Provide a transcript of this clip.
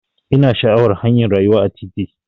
Ina sha'awar hanyar rayuwa a titi.